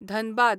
Dhanbad